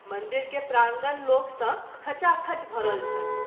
मंदिर के प्रांगण लोक सँ खचा खच भरल छल।